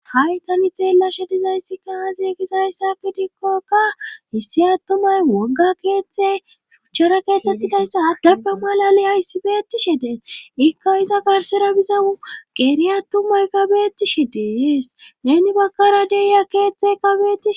Ha7i tani xeellashe dizayssi kaaaze gizayssaki dikkokka hissi attumay wogga keeththe suchchara keettettidayssa addappe malali ayssibeetishe dee ikka iza garsera bizau qeeri attumay kabetishe dees neni bakkara deiya keethte kabeti